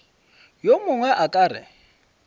yo mongwe a ka re